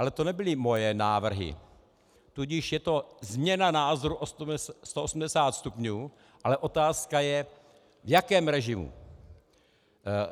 Ale to nebyly moje návrhy, tudíž je to změna názoru o 180 stupňů, ale otázka je, v jakém režimu.